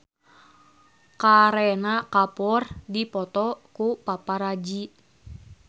Kareena Kapoor dipoto ku paparazi